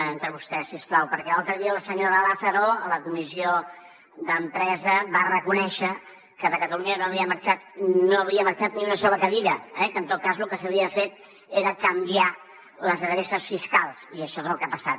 entre vostès si us plau perquè l’altre dia la senyora lázaro a la comissió d’empresa va reconèixer que de catalunya no havia marxat ni una sola cadira eh que en tot cas lo que s’havia fet era canviar les adreces fiscals i això és el que ha passat